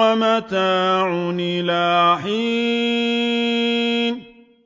وَمَتَاعٌ إِلَىٰ حِينٍ